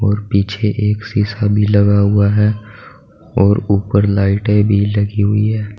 और पीछे एक शिशा भी लगा हुआ है और ऊपर लाइटे भी लगी हुई है।